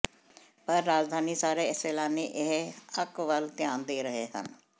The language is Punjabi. ਪਰ ਰਾਜਧਾਨੀ ਸਾਰੇ ਸੈਲਾਨੀ ਇਹ ਅੰਕ ਵੱਲ ਧਿਆਨ ਦੇ ਰਹੇ ਹਨ